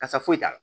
Kasa foyi t'a la